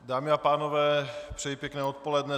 Dámy a pánové, přeji pěkné odpoledne.